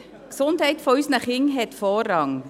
Die Gesundheit unserer Kinder hat Vorrang.